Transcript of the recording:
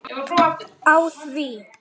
Á því